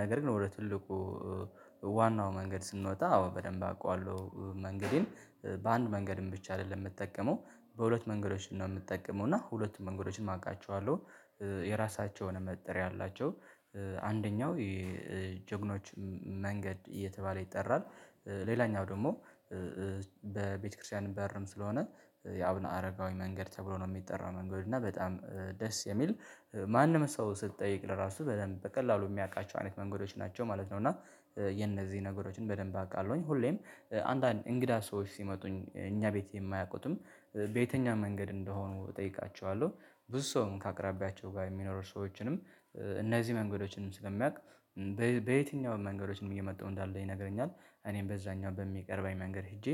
ነገር ግን ወደ ትልቁ ዋናው መንገድ ስንወጣ አዎ በደንብ አውቃለሁ። መንገዴን በአንድ መንገድም ብቻ አይደለም የምትጠቀመው በሁለት መንገዶችን ነው የምትጠቀመው እና ሁለቱም መንገዶችን አውቃቸዋለሁ። የራሳቸውን መጠሪያ አላቸው። አንደኛው የጀግኖች መንገድ እየተባለ ይጠራል። ሌላኛው ደግሞ በቤተክርስቲያን በርም ስለሆነ የአብነ አረጋዊ መንገድ ተብሎ ነው የሚጠራው መንገድ እና በጣም ደስ የሚል ማንም ሰው ስትጠይቅ ለራሱ በደንብ በቀላሉ የሚያውቃቸው አይነት መንገዶች ናቸው ማለት ነው። እና የነዚህ ነገሮችን በደንብ አውቃለሁኝ ሁሌም አንዳንድ እንግዳ ሰዎች ሲመጡ እኛ ቤት የማያውቁትም በየትኛው መንገድ እንደሆኑ እጠይቃቸዋለሁ። ብዙ ሰውም ከአቅራቢያቸው ጋር የሚኖር ሰዎችንም እነዚህ መንገዶችንም ስለሚያውቅ በየትኛውም መንገዶችንም እየመጣሁ እንዳለ ይነግረኛል እኔም በዛኛው በሚቀርበኝ መንገድ ሄጄ